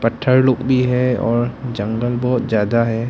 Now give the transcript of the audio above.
थर लोग भी है और जंगल बहुत ज्यादा है।